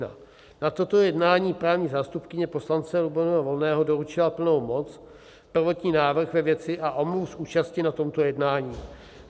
Na toto jednání právní zástupkyně poslance Lubomíra Volného doručila plnou moc, prvotní návrh ve věci a omluvu z účasti na tomto jednání.